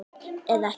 Eða ekki?